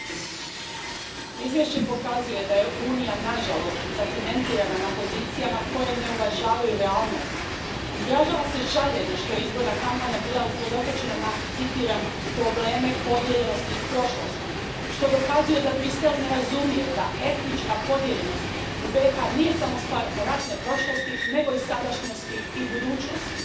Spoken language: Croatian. Poštovani predsjedavajući, izvješće pokazuje da je Unija nažalost zacementirana na pozicijama koje ne uvažavaju realnost. Izražava se žaljenje što je izborna kampanja bila usredotočena na, citiram, probleme podijeljenosti iz prošlostiˮ, što dokazuje da Bruxelles ne razumije da etnička podijeljenost u BiH nije samo stvar ratne prošlosti, nego i sadašnjosti i budućnosti.